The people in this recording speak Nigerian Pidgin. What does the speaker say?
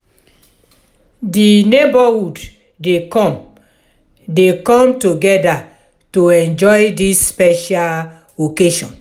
di neighborhood dey come dey come together to enjoy dis special occasion.